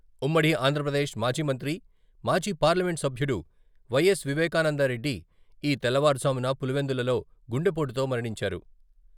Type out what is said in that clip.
ఉమ్మడి ఆంధ్రప్రదేశ్ మాజీ మంత్రి, మాజీ పార్లమెంటు సభ్యుడు వై.ఎస్. వివేకానందరెడ్డి ఈ తెల్లవారుజామున పులివెందులలో గుండెపోటుతో మరణించారు.